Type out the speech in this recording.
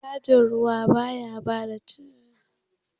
Bankin da baya cajin ruwa, ba ya karɓar riba idan ya bada bashi.